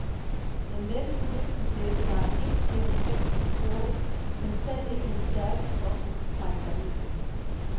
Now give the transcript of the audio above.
Den letteste vind kan blæse dig ind gennem fængslets porte, men selv ikke den stærkeste okse kan trække dig ud igen.